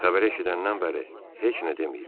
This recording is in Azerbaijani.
Xəbəri eşidəndən bəri heç nə deməyib.